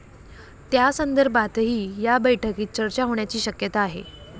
त्यासंदर्भातही या बैठकीत चर्चा होण्याची शक्यता आहे.